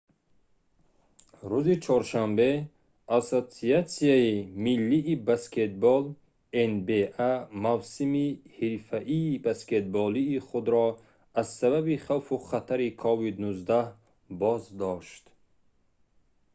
рӯзи чоршанбе ассотсиатсияи миллии баскетбол nba мавсими ҳирфаии баскетболии худро аз сабаби хавфу хатари covid-19 боздошт